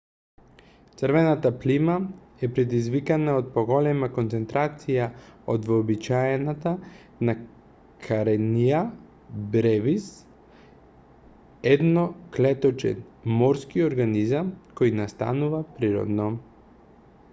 црвената плима е предизвикана од поголема концентрација од вообичаената на карениа бревис едноклеточен морски организам кој настанува природно